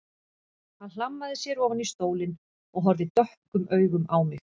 Hann hlammaði sér ofan í stólinn og horfði dökkum augum á mig.